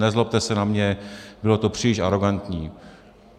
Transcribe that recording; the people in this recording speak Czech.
Nezlobte se na mě, bylo to příliš arogantní.